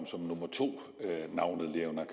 navnet leonora